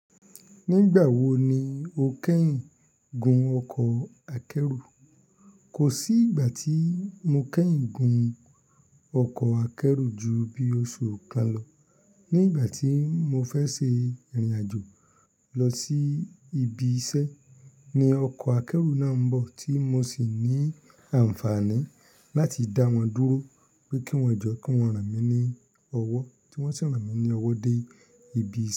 Nígbà wo ni o kẹ́yìn gun ọkọ̀ akẹ́rù? Kò sí ìgbà tí mo kẹ́yìn gun ọkọ̀ akẹ́rù ju bí oṣù kan lọ. Ní ìgbà tí mo fẹ́ ṣe ìrìnàjò lọ sí ibi iṣẹ́ ni ọkọ̀ akẹ́rù náà ń bọ̀ tí mo sì ní àǹfààní láti dá wọn dúró pé kí wọ́n jọ́ kí wọ́n ràn mí ní ọwọ́ tí wọ́n sì ràn mí ní ọwọ́ dé ibi.